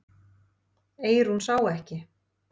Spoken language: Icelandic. Eyrún sá ekki.